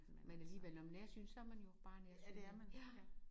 Men alligevel når man er nærsynet så er man jo bare nærsynet ja